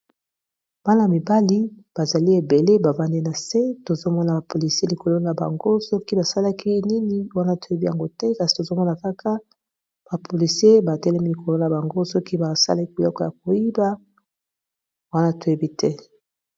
bana mibali bazali ebele bafandi na se tozomona bapolisi likolo na bango soki basalaki nini wana toyebi yango te kasi tozomona kaka bapolisi batelemi likolo na bango soki basalaki biloko ya koyiba wana toyebi te.